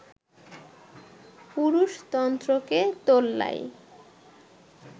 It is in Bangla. পুরুষতন্ত্রকে তোল্লাই